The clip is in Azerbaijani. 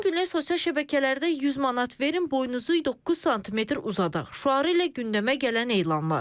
Son günlər sosial şəbəkələrdə 100 manat verin boyunuzu 9 sm uzadaq şüarı ilə gündəmə gələn elanlar.